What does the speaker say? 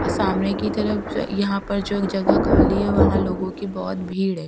अ सामने कि तरफ यहाँ पर जो जगह खाली है वहां लोगों की बहुत भीड़ है --